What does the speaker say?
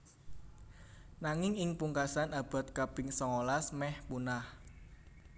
Nanging ing pungkasan abad kaping songolas mèh punah